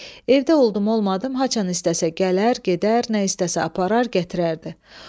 Evdə oldum, olmadım, haçan istəsə gələr, gedər, nə istəsə aparar, gətirərdi.